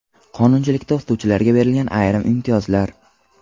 Qonunchilikda o‘qituvchilarga berilgan ayrim imtiyozlar.